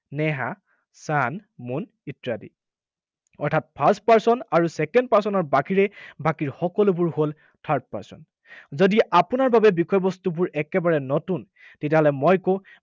Neha, sun, moon ইত্যাদি। অৰ্থাৎ first person আৰু second person ৰ বাহিৰে বাকী সকলোবোৰ হল third person যদি আপোনাৰ বাবে বিষয়বস্তুবোৰ একেবাৰে নতুন, তেতিয়াহলে মই কওঁ